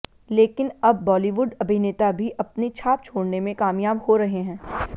लेकिन अब बालीवुड अभिनेता भी अपनी छाप छोड़ने में कामयाब हो रहे है